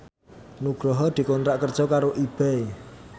Nugroho dikontrak kerja karo Ebay